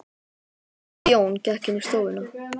Herra Jón gekk inn í stofuna.